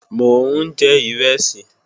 Mò ń jẹ ìrẹsì